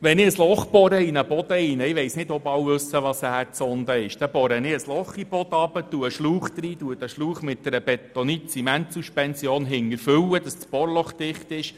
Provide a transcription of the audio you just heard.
Wenn ich in einen Boden ein Loch bohre – ich weiss nicht, ob alle wissen, was eine Erdsonde ist –, dann lege ich einen Schlauch hinein, welchen ich hinten mit einer Bentonit-Zement-Suspension fülle, sodass das Bohrloch dicht ist.